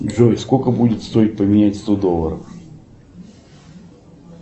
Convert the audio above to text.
джой сколько будет стоить поменять сто долларов